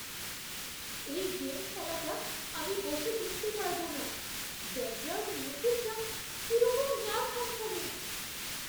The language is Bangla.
এই গেম খেলাটা আমি বসে দেখতে পারব না। ব্যাকগ্রাউন্ড মিউজিকটা কিরকম গা ছমছমে।